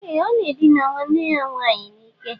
Ee! Ọ na-edina nwanne ya nwaanyị n'ike.